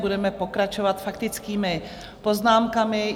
Budeme pokračovat faktickými poznámkami.